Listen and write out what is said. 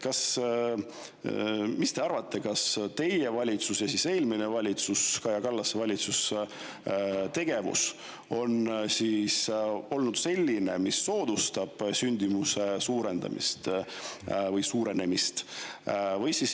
Mis te arvate, kas teie valitsuse ja eelmise valitsuse, Kaja Kallase valitsuse tegevus on olnud selline, mis soodustab sündimuse suurenemist?